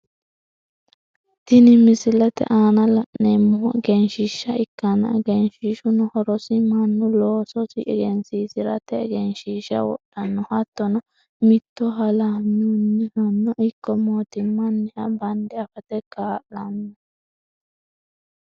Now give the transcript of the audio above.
Tinni misilete aanna la'neemohu egenshiisha ikkanna egenshishuno horosi Manu loososi egensiisirate egenshiisha wodhano hattono mitto hallanyunihano ikko mootimmanniha bande afate kaa'lano.